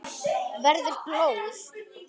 Verður blóð.